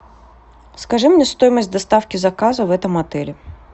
скажи мне стоимость доставки заказа в этом отеле